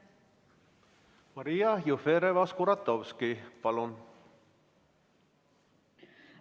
Maria Jufereva-Skuratovski, palun!